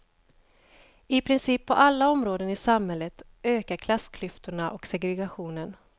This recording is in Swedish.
I princip på alla områden i samhället ökar klassklyftorna och segregationen.